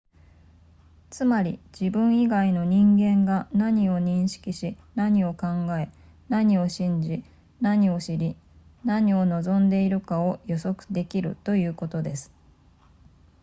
つまり自分以外の人間が何を認識し何を考え何を信じ何を知り何を望んでいるかを予測できるということです